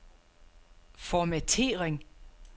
formattering